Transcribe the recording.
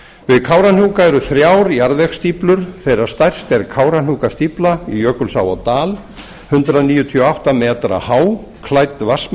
við kárahnjúka eru þrjár jarðvegsstíflur þeirra stærst er kárahnjúkastífla í jökulsá á dal hundrað níutíu og átta metra há klædd